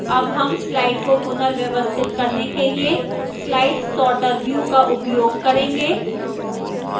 अब हम slides को पुनर्व्यवस्थित करने के लिए slide sorter view का उपयोग करेंगे